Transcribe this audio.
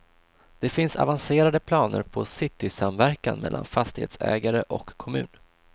Det finns avancerade planer på citysamverkan mellan fastighetsägare och kommun.